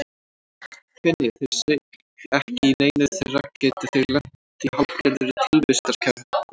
Finni þeir sig ekki í neinu þeirra geta þeir lent í hálfgerðri tilvistarkreppu.